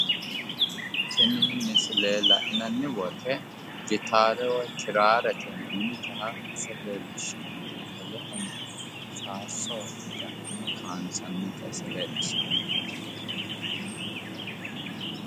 Tini misile la'nanni woyite gitaare woyi kiraarete yinannita ise leellishshanno wolehono faarso ja'nnine kaayinsannita ise leellishshanno.